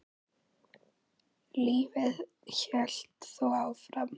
Lífið hélt þó áfram.